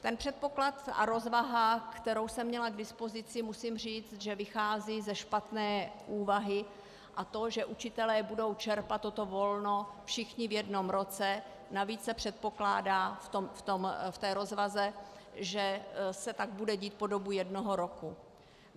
Ten předpoklad a rozvaha, kterou jsem měla k dispozici, musím říct, že vychází ze špatné úvahy, a to že učitelé budou čerpat toto volno všichni v jednom roce, navíc se předpokládá v té rozvaze, že se tak bude dít po dobu jednoho roku.